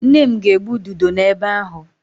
Nne m ga-egbu ududo n'ebe ahu.